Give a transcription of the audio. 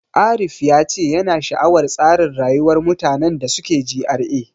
Arif ya ce yana sha'awar tsarin rayuwar mutanen da suke GRA.